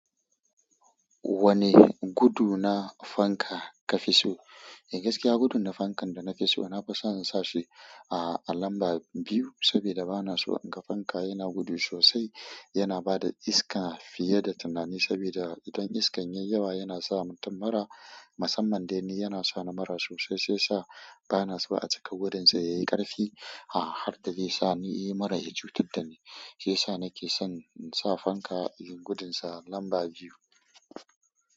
Wane gudu na fanka ka fi so? Eh gaskiya gudun da fankan da na fi so, na fi so in sa shi a, a lamba biyu saboda bana so in ga fanka yana gudu sosai. Yana ba da iska fiye da tunani saboda idan iskan yayi yawa yana sa mutum mura. Musamman dai ni, yana sa ni mura sosai, sai sa bana so a cika gudun sa yayi ƙarfi. Ha har da de sani mura ya cutar dani, shiyasa nake son insa fanka yayi gudun sa number biyu.